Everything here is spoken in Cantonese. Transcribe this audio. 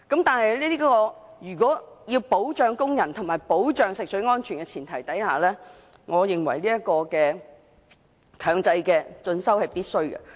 但是，在保障工人及食水安全的前提之下，我認為強制進修是必須的。